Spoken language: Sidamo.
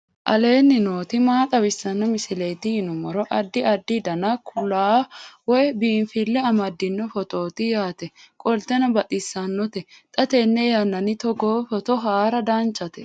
aleenni nooti maa xawisanno misileeti yinummoro addi addi dananna kuula woy biinfille amaddino footooti yaate qoltenno baxissannote xa tenne yannanni togoo footo haara danchate